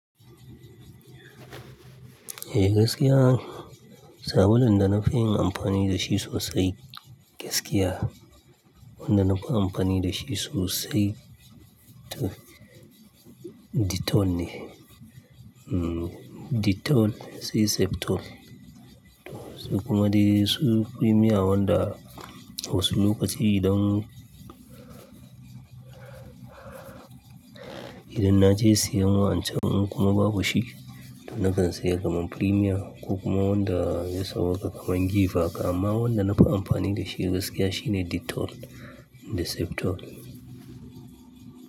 Eh gaskiya, sabulun da na fi yin amfani da shi sosai gaskiya, wanda na fi amfani da shi sosai, to Dettol ne. Dettol sai Septol. Kuma dai su Premier wanda wasu lokaci idan, idan na je siyan wa'ancan in kuma babu shi to na kan saya kaman Premier ko kuma wanda ya sawwaka kaman Giv haka. Amma wanda na fi amfani da shi gaskiya shine Dettol da Septol.